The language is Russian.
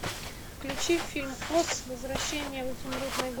включи фильм оз возвращение в изумрудный город